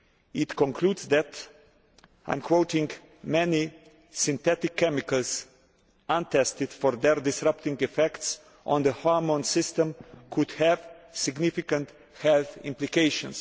It concludes that many synthetic chemicals, untested for their disrupting effects on the hormone system, could have significant health implications'.